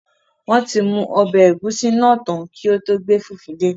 Wọn ti mu ọbẹ egusi naa tan ki o to gbe fufu de